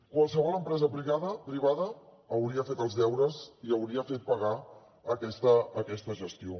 qualsevol empresa privada hauria fet els deures i hauria fet pagar aquesta gestió